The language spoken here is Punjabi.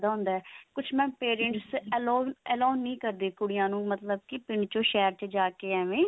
ਕੁਛ mam parents allow allow ਨਹੀ ਕਰਦੇ ਕੁੜੀਆਂ ਨੂੰ ਮਤਲਬ ਪਿੰਡ ਚੋਂ ਸ਼ਹਿਰ ਜਾ ਕਿ ਏਵੇਂ